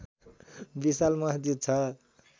विशाल मस्जिद छ